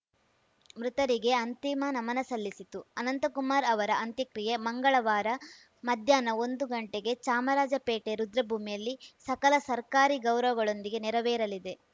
ಮೃತರಿಗೆ ಅಂತಿಮ ನಮನ ಸಲ್ಲಿಸಿತು ಅನಂತಕುಮಾರ್‌ ಅವರ ಅಂತ್ಯಕ್ರಿಯೆ ಮಂಗಳವಾರ ಮಧ್ಯಾಹ್ನ ಒಂದು ಗಂಟೆಗೆ ಚಾಮರಾಜಪೇಟೆ ರುದ್ರಭೂಮಿಯಲ್ಲಿ ಸಕಲ ಸರ್ಕಾರಿ ಗೌರವಗಳೊಂದಿಗೆ ನೆರವೇರಲಿದೆ